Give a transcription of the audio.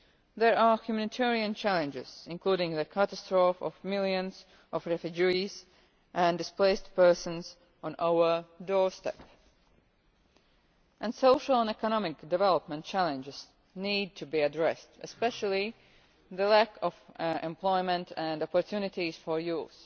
There are humanitarian challenges, including the catastrophe of millions of refugees and displaced persons on our doorstep, and social and economic development challenges need to be addressed especially the lack of employment and opportunities for youth.